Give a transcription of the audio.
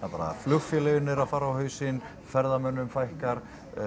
bara flugfélögin eru að fara á hausinn ferðamönnum fækkar